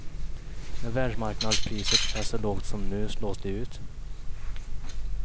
När världsmarknadspriset är så lågt som nu slås de ut.